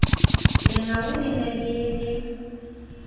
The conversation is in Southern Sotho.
lengau le ne le le